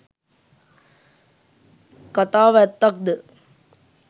කතාව ඇත්තක්ද?